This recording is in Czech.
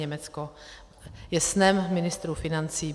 Německo je snem ministrů financí.